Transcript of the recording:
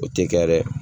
O tɛ kɛ dɛ